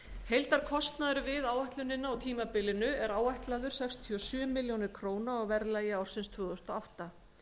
heildarkostnaður við náttúruverndaráætlunina á tímabilinu er áætlaður um sextíu og sjö milljónir króna á verðlagi ársins tvö þúsund og átta